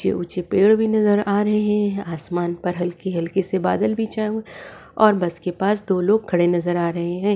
ऊँचे ऊँचे पेड़ भी नजर आ रहे है आसमान पर हल्की हल्की से बादल भी छाए हुए और बस के पास दो लोग खड़े नजर आ रहे है।